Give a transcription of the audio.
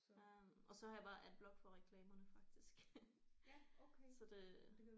Øh og så har jeg bare AdBlock på reklamerne faktisk så det